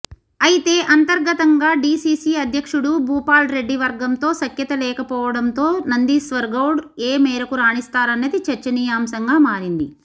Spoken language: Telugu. అయితే అంతర్గతంగా డిసిసి అధ్యక్షుడు భూపాల్రెడ్డి వర్గంతో సఖ్యత లేకపోవడంతో నందీశ్వర్గౌడ్ ఏ మేరకు రాణిస్తారన్నది చర్చనీయాంశంగా మారింది